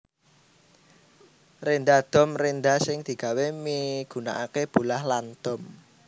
Rénda dom rénda sing digawé migunakaké bolah lan dom